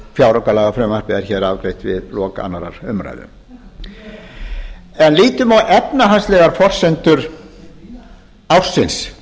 fjáraukalagafrumvarpið er hér afgreitt við lok annarrar umræðu en lítum á efnahagslegar forsendur ársins